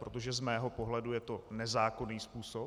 Protože z mého pohledu je to nezákonný způsob.